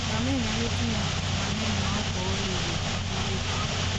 Ngamia nyalo ting'o gik mang'eny maok ool e wuoth mabor e thim.